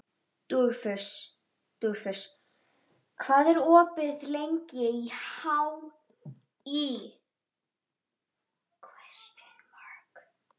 Dugfús, hvað er opið lengi í HÍ?